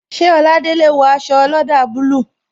Ṣé Oladele wo aṣọ olada bayij